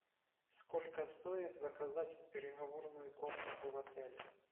сколько стоит заказать переговорную комнату в отеле